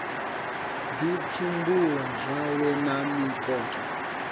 ḓi pfumbula zwawe na mikoṱa